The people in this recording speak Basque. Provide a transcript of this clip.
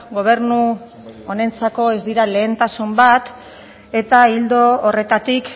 gobernu honentzako ez dira lehentasun bat eta ildo horretatik